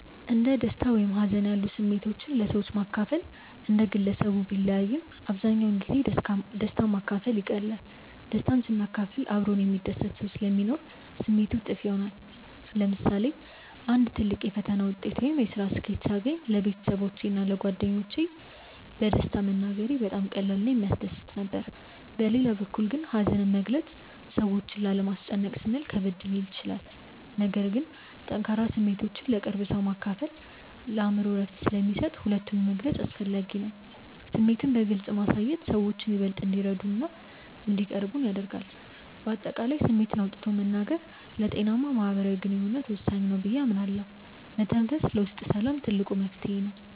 እንደ ደስታ ወይም ሀዘን ያሉ ስሜቶችን ለሰዎች ማካፈል እንደ ግለሰቡ ቢለያይም፣ አብዛኛውን ጊዜ ደስታን ማካፈል ይቀላል። ደስታን ስናካፍል አብሮን የሚደሰት ሰው ስለሚኖር ስሜቱ እጥፍ ይሆናል። ለምሳሌ አንድ ትልቅ የፈተና ውጤት ወይም የስራ ስኬት ሳገኝ ለቤተሰቦቼ እና ለጓደኞቼ በደስታ መናገሬ በጣም ቀላል እና የሚያስደስት ነበር። በሌላ በኩል ግን ሀዘንን መግለጽ ሰዎችን ላለማስጨነቅ ስንል ከበድ ሊል ይችላል። ነገር ግን ጠንካራ ስሜቶችን ለቅርብ ሰው ማካፈል የአእምሮ እረፍት ስለሚሰጥ ሁለቱንም መግለጽ አስፈላጊ ነው። ስሜትን በግልጽ ማሳየት ሰዎችን ይበልጥ እንዲረዱንና እንዲቀርቡን ያደርጋል። በአጠቃላይ ስሜትን አውጥቶ መናገር ለጤናማ ማህበራዊ ግንኙነት ወሳኝ ነው ብዬ አምናለሁ። መተንፈስ ለውስጥ ሰላም ትልቅ መፍትሄ ነው።